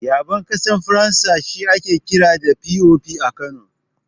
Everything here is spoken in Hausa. Yaɓen ƙasar Faransa shi ake kira da "POP" a Kano.